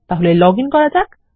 তাহলে লগইন করা যাক